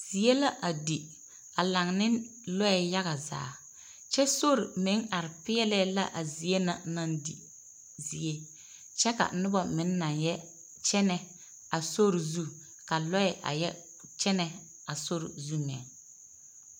Zie la a di, a laŋ ne lɔɛ yaga zaa, kyɛ sori meŋ are peɛlɛɛ la a zie na naŋ di zie, kyɛ ka noba meŋ naŋ yɔ kyɛnɛ a sori zu, ka lɔɛ meŋ neŋ yɔ kyɛnɛ a sori zu meŋ.